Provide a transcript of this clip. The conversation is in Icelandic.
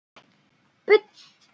Budda: Já, það er satt.